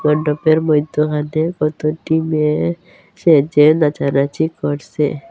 মধ্যখানে কতটি মেয়ে সেজে নাচানাচি করসে।